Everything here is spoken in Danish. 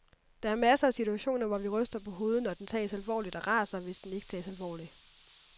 Der er masser af situationer, hvor vi ryster på hovedet når den tages alvorligt og raser, hvis den ikke tages alvorligt.